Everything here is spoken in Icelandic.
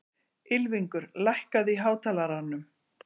Ylfingur, lækkaðu í hátalaranum.